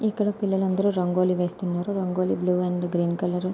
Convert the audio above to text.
ఇక్కడ పిల్లలందరూ రంగోలి వేస్తున్నారు rangoli blue and green colour --